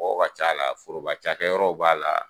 Mɔgɔw ka ca la, foroba cakɛ yɔrɔw b'a la